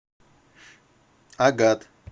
агат